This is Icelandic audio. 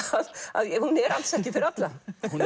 að hún er alls ekki fyrir alla